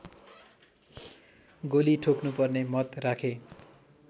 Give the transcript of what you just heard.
गोली ठोक्नुपर्ने मत राखे